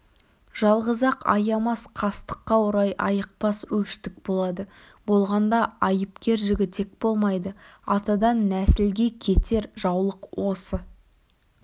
жалғыз-ақ аямас қастыққа орай айықпас өштік болады болғанда айыпкер жігітек болмайды атадан нәсілге кетер жаулық осы